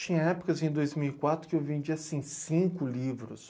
Tinha épocas, em dois mil e quatro, que eu vendia, assim, cinco livros.